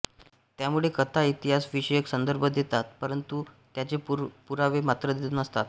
त्यामुळे कथा इतिहास विषयक संदर्भ देतात परंतु त्याचे पुरावे मात्र नसतात